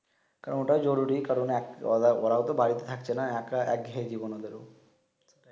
কারণ অটাও জরুলি কারন এক ওরা ওরাও তো বাড়িতে থাকছে না একাঘেয়ি জীবন ওদের